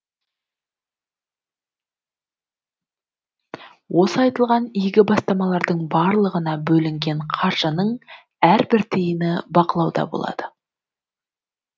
осы айтылған игі бастамалардың барлығына бөлінген қаржының әрбір тиыны бақылауда болады